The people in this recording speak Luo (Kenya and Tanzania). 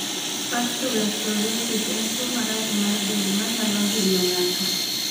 Pustular psoriasis en tuwo marach mar del manyalo hinyo ng'ato.